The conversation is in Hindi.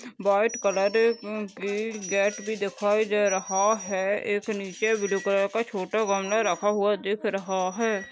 वाइट कलर अ की गेट भी दिखाई दे रहा है एक निचे ब्लू कलर का छोटा घमला रखा हुआ दिख रहा है।